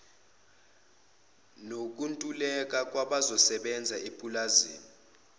nokuntuleka kwabazosebenza ipulazi